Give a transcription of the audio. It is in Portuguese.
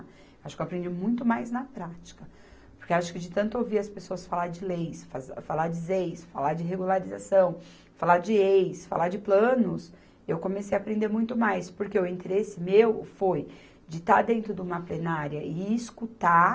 Acho que eu aprendi muito mais na prática, porque acho que de tanto ouvir as pessoas falar de leis, faze, falar de zeis, falar de regularização, falar de ex, falar de planos, eu comecei a aprender muito mais, porque o interesse meu foi de estar dentro de uma plenária e escutar